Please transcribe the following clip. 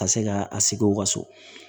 Ka se ka a sigi u ka so